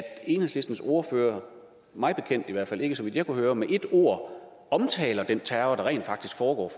enhedslistens ordfører i hvert fald ikke så vidt jeg kunne høre med ét ord omtaler den terror der rent faktisk foregår